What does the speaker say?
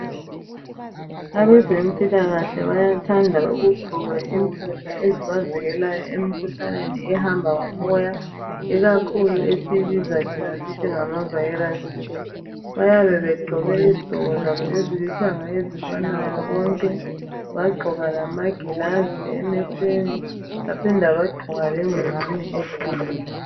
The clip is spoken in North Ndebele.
Abezempilakahle bayathanda ukuzivikelayo emkhuhlaneni, ehamba ngomoyo. Ikakhulu esiyibiza thina ngokuthi ngamaviruses. Bayabe begqoke izigqoko zabo ezilithanga, ezifanayo Konke. Bagqoka lamagilazi emehlweni. Baphinda bagqoka lengwane ekhanda.